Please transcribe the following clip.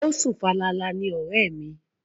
O sùn falala ni ọ̀rẹ́ mi.